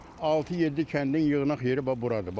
Altı-yeddi kəndin yığnaq yeri bax buradır.